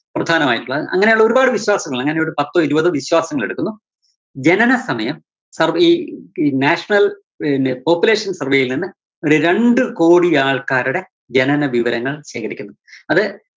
പ്രധാനമായിട്ടുള്ളത്. ആ അങ്ങനെയുള്ള ഒരുപാട് വിശ്വാസങ്ങള്, ഞാനിവിടെ പത്തോ ഇരുപതോ വിശ്വാസങ്ങളെടുക്കുന്നു. ജനനസമയം survey ഈ. ഈ national പിന്നെ population survey യില്‍ നിന്ന് ഒരു രണ്ട് കോടി ആള്‍ക്കാരുടെ ജനന വിവരങ്ങള്‍ ശേഖരിക്കുന്നു. അത്